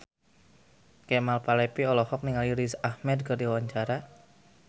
Kemal Palevi olohok ningali Riz Ahmed keur diwawancara